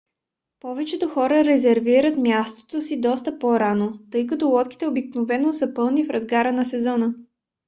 повечето хора резервират мястото си доста по - рано тъй като лодките обикновено са пълни в разгара на сезона